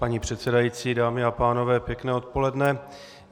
Paní předsedající, dámy a pánové, pěkné odpoledne.